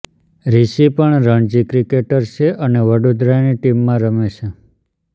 રિશિ પણ રણજી ક્રિકેટર છે અને વડોદરાની ટીમમાં રમે છે